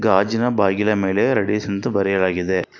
ಗಾಜಿನ ಬಾಗಿಲ ಮೇಲೆ ರೆಡಿಸ್ ಅಂತ ಬರೆಯಲಾಗಿದೆ.